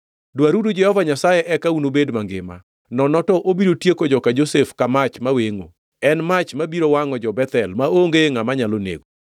Dwaruru Jehova Nyasaye eka unubed mangima, nono to obiro tieko joka Josef ka mach mawengʼo, en mach mabiro wangʼo jo-Bethel maonge ngʼama nyalo nego.